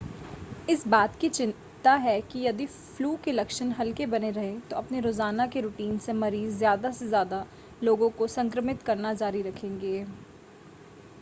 इस बात की चिंता है कि यदि फ़्लू के लक्षण हल्के बने रहे तो अपने रोज़ाना के रूटीन से मरीज़ ज़्यादा से ज़्यादा लोगों को संक्रमित करना जारी रखेंगे